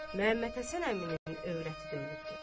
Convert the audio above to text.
Məhəmməd Həsən əminin övrəti də ölübdür.